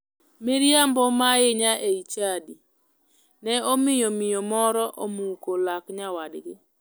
Miriambo ma ahinya e chadi ne omiyo miyo moro omuko lak nyawadgi.